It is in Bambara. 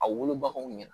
A wolobaw ɲɛna